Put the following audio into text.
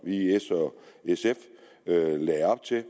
i s og sf lagde op til